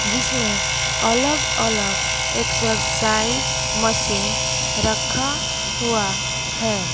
जीसमे अलग अलग exercise machine रखा हुआ है।